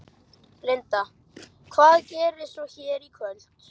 Linda: Hvað gerist svo hér í kvöld?